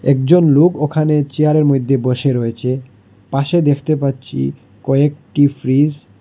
একজন লোক ওখানে চেয়ার -এর মইদ্যে বসে রয়েচে পাশে দেখতে পাচ্ছি কয়েকটি ফ্রিস --